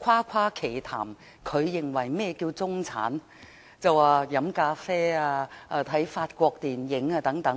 他誇誇其談地說何謂中產，他說喝咖啡和看法國電影等便是中產。